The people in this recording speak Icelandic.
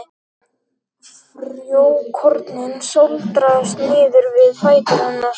Frjókornin sáldrast niður við fætur hennar.